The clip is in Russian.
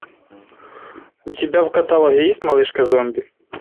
у тебя в каталоге есть малышка зомби